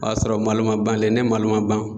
O y'a sɔrɔ malo ma ban dɛ, ni malo ma ban